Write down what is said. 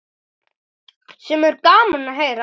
Sem er gaman að heyra.